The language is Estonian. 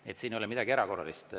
Nii et siin ei ole midagi erakordset.